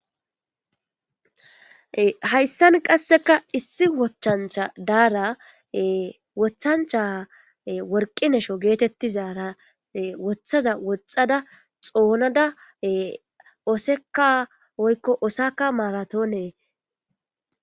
Haysan qaseka issi wothancha Dara wothancha worqjnesho getetizara wotheza woxada xoonada oseka woyko Osaka marathone .....